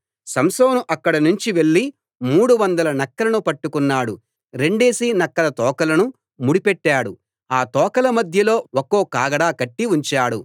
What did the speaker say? సంసోను అక్కడి నుంచి వెళ్లి మూడు వందల నక్కలను పట్టుకున్నాడు రెండేసి నక్కల తోకలను ముడి పెట్టాడు ఆ తోకల మధ్యలో ఒక్కో కాగడా కట్టి ఉంచాడు